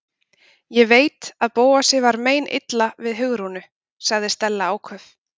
Ég veit að Bóasi er meinilla við Hugrúnu- sagði Stella áköf.